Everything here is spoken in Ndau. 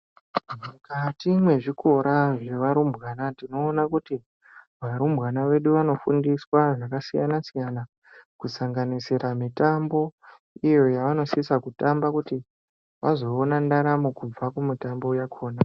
Mukati mwezvikora zvevarumbwana tinoona kuti ,varumbwana vedu vanofundiswa zvakasiya-siyana, kusanganisira mitambo, iyo yavanosisa kutamba, kuti vazoona ndaramo kubva kumitambo yakhona.